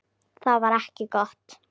Það var ekki gott.